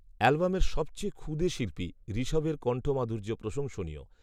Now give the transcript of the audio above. অ্যালবামের সবচেয়ে ক্ষুদে শিল্পী, ঋষভের কন্ঠ মাধুর্য প্রশংসনীয়